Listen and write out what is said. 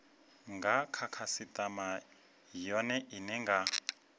nga khasitama yone ine nga